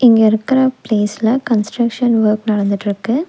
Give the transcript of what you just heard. இங்க இருக்குற பிளேஸ்ல கன்ஸ்ட்ரக்ஷன் வொர்க் நடந்துட்ருக்கு.